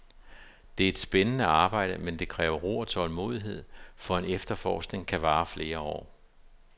Det er et spændende arbejde, men det kræver ro og tålmodighed, for en efterforskning kan vare flere år.